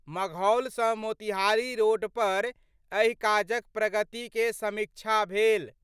मघौल सँ मोतिहारी रोड पर एहि काजक प्रगति के समीक्षा भेल।